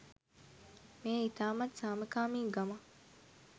මෙය ඉතාමත් සාමකාමි ගමක්.